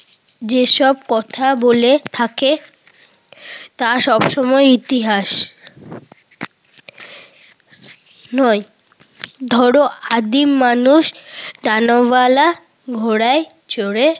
যেসব কথা বলে থাকে তা সব সময়ই ইতিহাস। নয়। ধর আদিম মানুষ ডানাওয়ালা ঘোড়ায় চড়ে